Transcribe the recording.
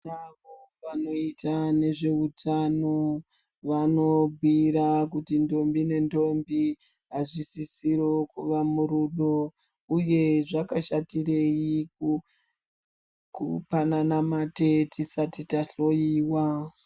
Avo vanoita ngezveutano vanobhiira kuti ndombi nendombi azvisisiriwo kuva murudo uye zvakashatirei kupanana mate tisati tahloiwa.